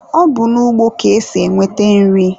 Ọ bụ n'ugbo ka esi enweta nri.